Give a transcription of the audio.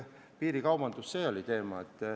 Piirikaubandus peab lõppema.